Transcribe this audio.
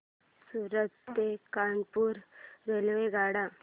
सूरत ते कानपुर रेल्वेगाड्या